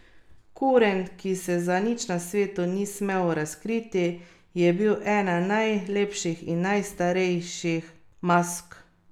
Kurent, ki se za nič na svetu ni smel razkriti, je bil ena najlepših in najstrašnejših mask.